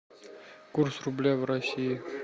курс рубля в россии